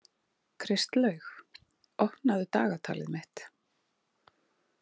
Kristlaug, opnaðu dagatalið mitt.